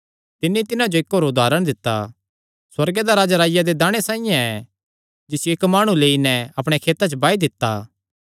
तिन्नी तिन्हां जो इक्क होर उदारण दित्ता सुअर्गे दा राज्ज राईया दे दाणे साइआं ऐ जिसियो इक्की माणुयैं लेई नैं अपणेयां खेतां च बाई दित्ता